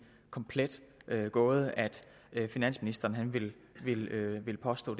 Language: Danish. komplet gåde at finansministeren vil vil påstå